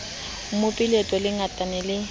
mope leto di ngata ma